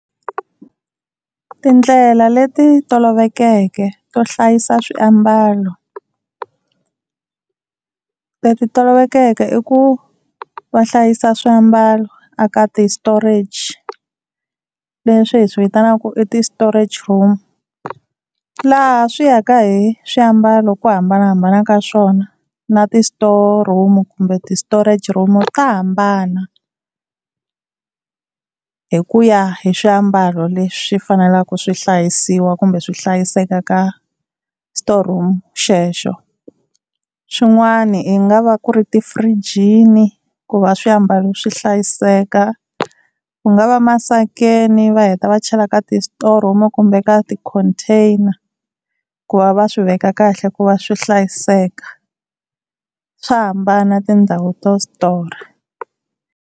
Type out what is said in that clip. Tindlela leti tolovelekeke to hlayisa swiambalo. Leti tolovelekeke i ku va hlayisa swiambalo a ka ti-storage leswi hi swi vitanaka ku i ti-storage room. Laha swi yaka hi swiambalo ku hambanahambana ka swona na ti-store room kumbe ti-storage room ta hambana, hi ku ya hi swiambalo leswi faneleke swi hlayisiwa kumbe swi hlayiseka ka storeroom xexo. Swin'wana i nga va ku ri tifirijini ku va swiambalo swi hlayiseka, ku nga va emasakeni va heta va chela ka ti-store room kumbe ka ti-container ku va va swi veka kahle ku va swi hlayiseka swa hambana tindhawu to store.